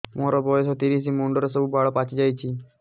ମୋର ବୟସ ତିରିଶ ମୁଣ୍ଡରେ ସବୁ ବାଳ ପାଚିଯାଇଛି